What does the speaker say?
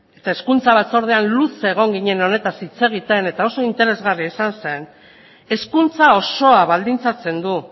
eta hezkuntza batzordean luze egon ginen honetaz hitz egiten eta oso interesgarria izan zen hezkuntza osoa baldintzatzen du